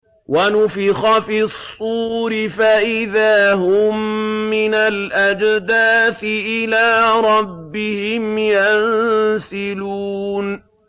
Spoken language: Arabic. وَنُفِخَ فِي الصُّورِ فَإِذَا هُم مِّنَ الْأَجْدَاثِ إِلَىٰ رَبِّهِمْ يَنسِلُونَ